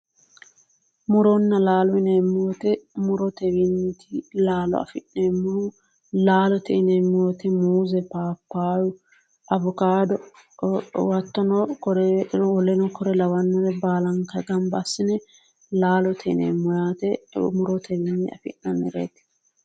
Muronna laalote yinemo wote murotewiinniiti laalo afi'neemmohu laalote yineemmo wote muuze paapayu hattono woleno kuri lawannori baalanka gamba assine laalote yineemmo yaate murotewiinni afi'nannireeti.